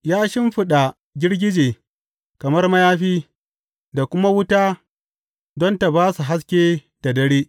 Ya shimfiɗa girgije kamar mayafi, da kuma wuta don ta ba su haske da dare.